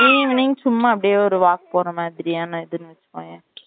evening சும்மா அப்டியே ஒரு walk போன மாதிரியா வச்சுகொவேன்